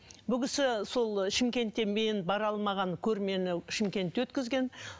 бұл кісі сол шымкентте мен бара алмаған көрмені шымкентте өткізген